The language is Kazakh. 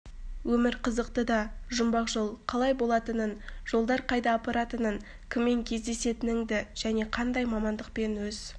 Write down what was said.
өмір қызықты да жұмбақ жол қалай болатынын жолдар қайда апаратынын кіммен кездесетініңді және қандай мамандықпен өз